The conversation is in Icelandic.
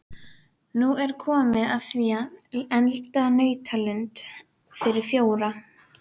Nú er komið að því að elda nautalund fyrir fjóra.